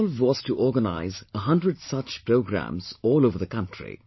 The resolve was to organise 100 such programmes all over the country